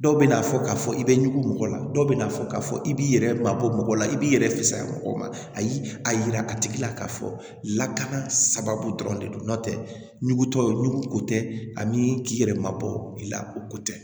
Dɔw bɛna fɔ k'a fɔ i bɛ ɲugu mɔgɔ la dɔw bɛ na fɔ k'a fɔ i b'i yɛrɛ mabɔ mɔgɔ la i b'i yɛrɛ fɛsiya mɔgɔw ma a y'i a yira a tigi la k'a fɔ lakana sababu dɔrɔn de don n'o tɛ nugutɔw nugu ko tɛ ani k'i yɛrɛ mabɔ i la o ko tɛ